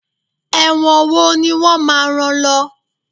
ẹwọ́n wò ni wón má rán lo